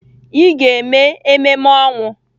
Ị ga-eme ememe ọnwụ!